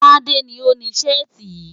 Tádé ni ó ni Ṣẹ́ẹ̀tì yìí.